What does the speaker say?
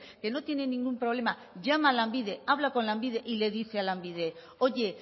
que no tiene ningún problema llama a lanbide habla con lanbide y le dice a lanbide oye